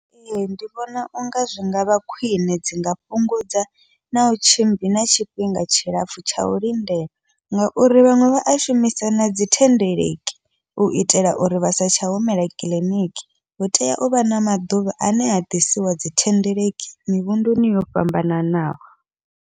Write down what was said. Ee, ndi vhona unga zwi ngavha khwiṋe, dzi nga fhungudza nau tshimbila na tshifhinga tshilapfhu tsha u lindela ngauri vhaṅwe vha a shumisa nadzi thendeleki u itela uri vha sa tsha humela kiḽiniki, hu tea uvha na maḓuvha ane ha ḓisiwa dzi thendeleki mivhunduni yo fhambananaho.